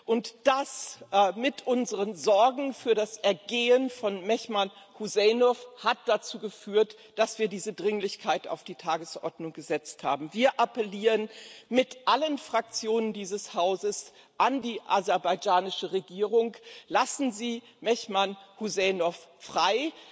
Und dies und unsere Sorgen für das Wohlergehen von Mehman Hüseynov haben dazu geführt, dass wir diese Dringlichkeit auf die Tagesordnung gesetzt haben. Wir appellieren mit allen Fraktionen dieses Hauses an die aserbaidschanische Regierung Lassen Sie Mehman Hüseynov frei!